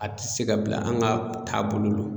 A ti se ka bila an' ŋa taabolo lo